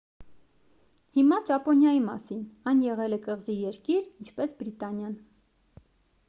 հիմա ճապոնիայի մասին այն եղել է կղզի երկիր ինչպես բրիտանիան